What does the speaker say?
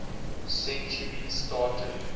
century started